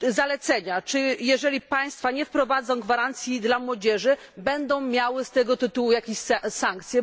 Czy jeżeli państwa nie wprowadzą gwarancji dla młodzieży, będą miały z tego tytułu jakieś sankcje?